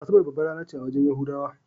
Asabar babbar rana ce a wajen yahudawa.